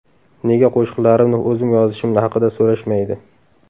Nega qo‘shiqlarimni o‘zim yozishim haqida so‘rashmaydi?